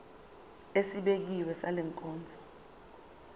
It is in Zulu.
esibekiwe sale nkonzo